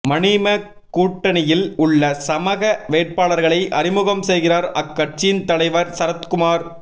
மநீம கூட்டணியில் உள்ள சமக வேட்பாளர்களை அறிமுகம் செய்கிறார் அக்கட்சியின் தலைவர் சரத்குமார்